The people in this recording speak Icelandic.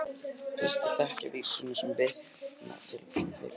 Flestir þekkja vísuna sem vitnað er til í fyrirspurninni.